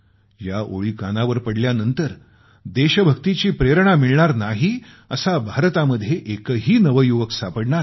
या ओळी कानावर पडल्यानंतर देशभक्तीची प्रेरणा मिळणार नाही असा भारतामध्ये एकही नवयुवक सापडणार नाही